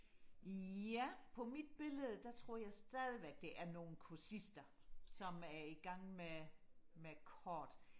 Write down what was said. ja på mit billede der tror jeg stadigvæk det er nogle kursister som er i gang med med kort